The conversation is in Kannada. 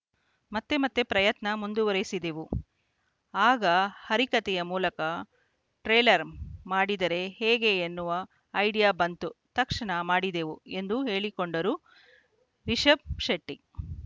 ಮತ್ತೆ ಮತ್ತೆ ಪ್ರಯತ್ನ ಮುಂದುವರೆಸಿದೆವು ಆಗ ಹರಿಕತೆಯ ಮೂಲಕ ಟ್ರೇಲರ್‌ ಮಾಡಿದರೆ ಹೇಗೆ ಎನ್ನುವ ಐಡಿಯಾ ಬಂತು ತಕ್ಷಣ ಮಾಡಿದೆವು ಎಂದು ಹೇಳಿಕೊಂಡರು ರಿಷಬ್‌ ಶೆಟ್ಟಿ